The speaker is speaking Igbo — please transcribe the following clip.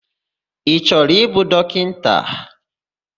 Ị chọrọ ịbụ dọkịta?